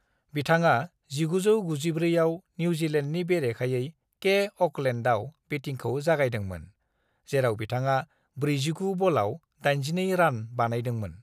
"बिथाङा 1994 आव निउजिलेन्डनि बेरेखायै के अ'कलेन्डआव बेटिंखौ जागायदोंमोन, जेराव बिथाङा 49 बलाव 82 रान बानायदोंमोन।"